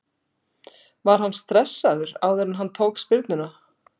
Var hann stressaður áður en hann tók spyrnuna?